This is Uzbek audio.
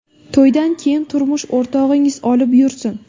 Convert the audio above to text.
To‘ydan keyin turmush o‘rtog‘ingiz olib yursin”.